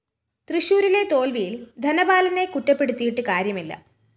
തൃശൂരിലെ തോല്‍വിയില്‍ ധനപാലനെകുറ്റപ്പെടുത്തിയിട്ടു കാര്യമില്ല